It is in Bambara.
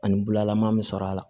Ani bulalaman be sɔrɔ a la